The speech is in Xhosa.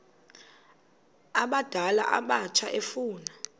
abadala abatsha efuna